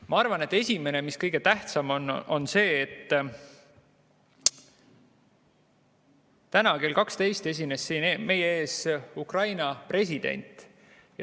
Ma arvan, et esimene ja kõige tähtsam asi on see, et täna kell 12 esines siin meie ees Ukraina president.